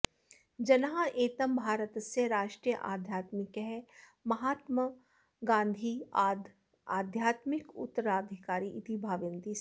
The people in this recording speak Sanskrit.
जनाः एतं भारतस्य राष्ट्रियाध्यात्मिकः महात्मागान्धेः आध्यात्मिकोत्तराधिकारी इति भावयन्ति स्म